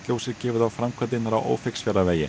ljós er gefið á framkvæmdirnar á